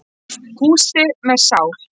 Húsi með sál.